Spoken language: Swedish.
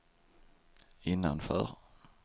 innanför